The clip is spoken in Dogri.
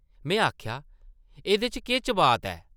में आखेआ, इसदे च केह् चबात ऐ?